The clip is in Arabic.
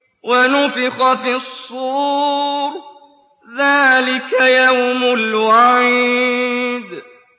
وَنُفِخَ فِي الصُّورِ ۚ ذَٰلِكَ يَوْمُ الْوَعِيدِ